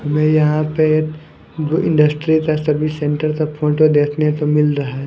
हमें यहां पे इंडस्ट्री का सर्विस सेंटर का फोटो देखने तो मिल रहा है।